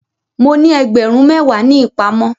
Mo ní ẹgbẹ̀rún méwàá ní ìpamọ́.